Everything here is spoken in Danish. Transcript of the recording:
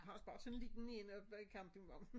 Har også bare sådan en lille én oppe ved campingvognen